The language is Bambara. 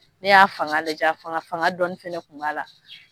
Ne y'a a fanga lajɛ a fanga fanga dɔɔni fɛnɛ kun b'a la.